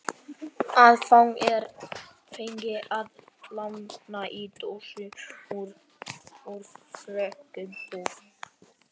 Það er fengið að láni í dönsku úr frönsku buffet.